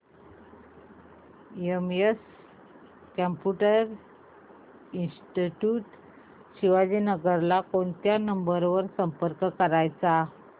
CMS computer institute Shivajinagar ला कोणत्या number वर संपर्क करायचा